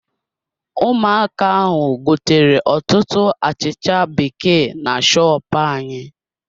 Ụmụaka ahụ gotere ọtụtụ achịcha bekee na shopu anyị.